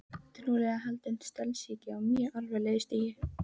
Trúlega haldinn stelsýki á mjög alvarlegu stigi.